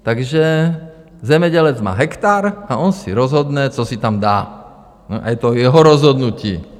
Takže zemědělec má hektar a on si rozhodne, co si tam dá, a je to jeho rozhodnutí.